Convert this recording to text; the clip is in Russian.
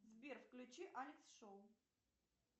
сбер включи алекс шоу